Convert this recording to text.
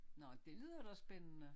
Nå det lyder da spændende